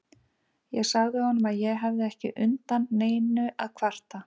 Ég sagði honum að ég hefði ekki undan neinu að kvarta.